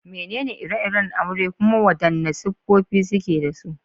Menene ire-iren aure kuma wadanne siffofi suke da su?